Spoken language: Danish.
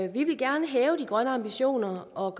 vi vil gerne hæve de grønne ambitioner og